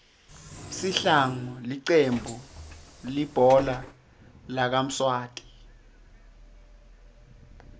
sihlangu licembu lihbhola lakamswati